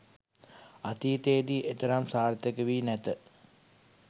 අතීතයේදී එතරම් සාර්ථක වී නැත